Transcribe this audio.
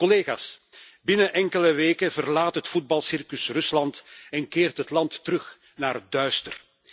Collega's, binnen enkele weken verlaat het voetbalcircus Rusland en keert het land terug naar het duister.